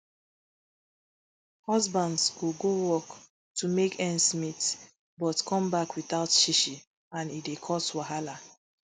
husbands go go work to make ends meet but come back without shishi and e dey cause wahala